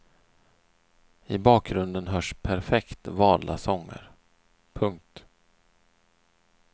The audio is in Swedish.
I bakgrunden hörs perfekt valda sånger. punkt